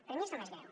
per mi és el més greu